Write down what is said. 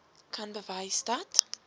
kan bewys dat